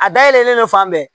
A dayɛlɛlen fan bɛɛ